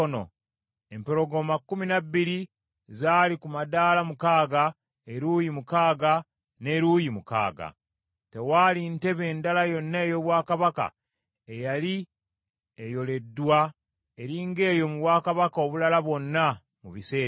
Empologoma kkumi na bbiri zaali ku madaala mukaaga, eruuyi mukaaga n’eruuyi mukaaga. Tewaali ntebe ndala yonna ey’obwakabaka eyali ekoleddwa eri ng’eyo mu bwakabaka obulala bwonna mu biseera ebyo.